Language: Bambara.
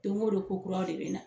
Don o don ko kuraw de bɛ na.